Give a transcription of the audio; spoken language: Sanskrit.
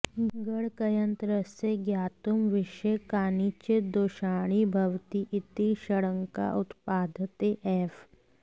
गणकयन्त्रस्य ज्ञातुं विषये कानिचित् दोषाणि भवति इति शङ्का उत्पाद्यते एव